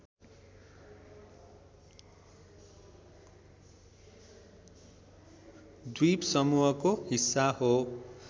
द्वीपसमूहको हिस्सा हो